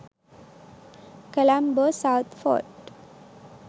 colombo south fort